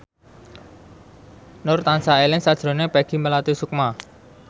Nur tansah eling sakjroning Peggy Melati Sukma